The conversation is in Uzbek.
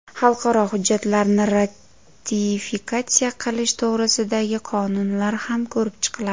Xalqaro hujjatlarni ratifikatsiya qilish to‘g‘risidagi qonunlar ham ko‘rib chiqiladi.